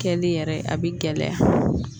Kɛli yɛrɛ a bɛ gɛlɛya